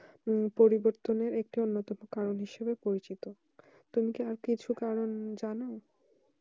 পরিবর্তন একটি অন্যতম কারণ হিসাবে পরিচিত তুমি কি কিছু কারণ যেন